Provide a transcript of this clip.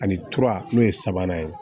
Ani ture n'o ye sabanan ye